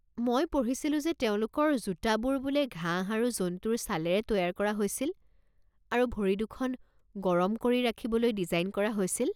মই পঢ়িছিলো যে তেওঁলোকৰ জোতাবোৰ বোলে ঘাঁহ আৰু জন্তুৰ ছালেৰে তৈয়াৰ কৰা হৈছিল আৰু ভৰি দুখন গৰম কৰি ৰাখিবলৈ ডিজাইন কৰা হৈছিল।